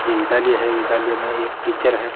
ये विद्यालय है विद्यालय में एक टीचर है।